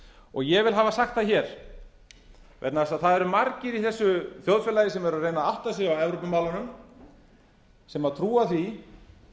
forsendu ég vil hafa sagt það vegna þess að það eru margir í þessu þjóðfélagi sem eru að reyna að átta sig á evrópumálunum sem trúa því